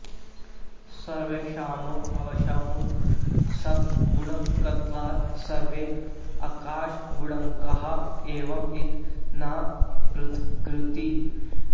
सर्वेषाम् अवश्यम् शब्दगुणकत्वात् सर्वे आकाशगुणकाः एव इति न पृथगुक्तिः